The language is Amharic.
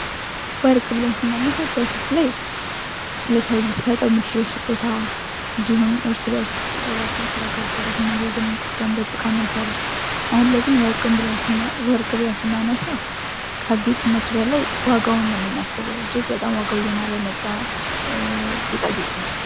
ወርቅ ብለን ስናነሳ በፊት ላይ ለሰው ልጅ ልንሰጠው የምንችለው ስጦታ እንዲሁም እርስ በርስ ራሳችንን ከጋብቻ ጋር ስናያይዝ የምንጠቀምበት እቃ ነበረ። አሁን ግን ወርቅ ብለን ስናነሳ ከጌጥነት በላይ ዋጋውን ነው ምናስበው። እጅግ በጣም ዋጋው እየናረ የመጣ ጌጣጌጥ ነው።